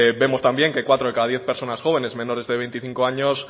vemos también que cuatro de cada diez personas jóvenes menores de veinticinco años